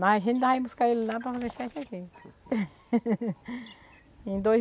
Mas a gente vai buscar ele lá para fazer festa aqui.